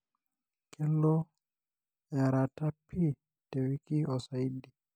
kelo earata pii tewiki osaidi.